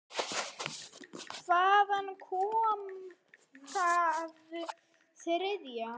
Hvaðan kom það þriðja?